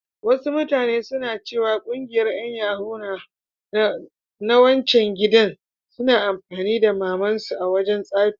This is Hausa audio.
Wasu mutane suna ciwa ƙungiyar yan yahoo na wancan gidan suna amfani da mamar su a wajan tsafi.